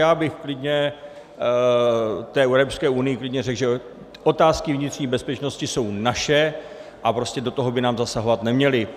Já bych klidně té Evropské unii řekl, že otázky vnitřní bezpečnosti jsou naše a prostě do toho by nám zasahovat neměli.